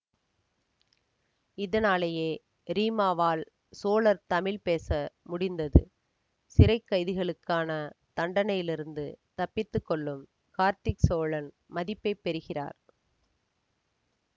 இதனாலேயே ரீமாவால் சோழர் தமிழ் பேச முடிந்தது சிறை கைதிகளுக்கான தண்டனையிலிருந்து தப்பித்து கொள்ளும் கார்த்திக் சோழன் மதிப்பை பெறுகிறார்